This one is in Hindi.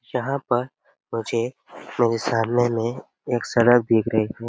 यहां पर मुझे मेरे सामने में एक एक सड़क दिख रही है।